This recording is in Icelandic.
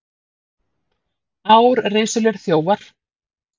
Árrisulir þjófar